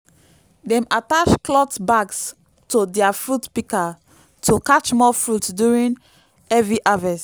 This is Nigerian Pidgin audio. dem attach clot bags to dia fruit pikas to catch more fruit during heavy harvest